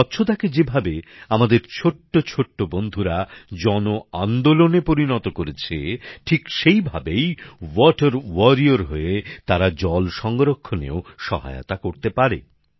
স্বচ্ছতাকে যেভাবে আমাদের ছোট্ট ছোট্ট বন্ধুরা জনআন্দোলনে পরিণত করেছে ঠিক সেভাবেই ওয়াটার ওয়ারিয়র হয়ে তারা জল সংরক্ষণেও সহায়তা করতে পারে